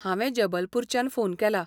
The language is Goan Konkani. हांवें जबलपूरच्यान फोन केला.